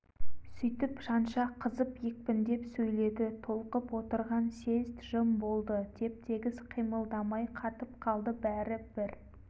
сүйтіп жанша қызып екпіндеп сөйледі толқып отырған съезд жым болды теп-тегіс қимылдамай қатып қалды бәрі бір